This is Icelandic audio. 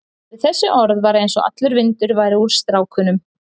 Við þessi orð var eins og allur vindur færi úr strákunum.